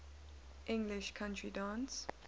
english country dance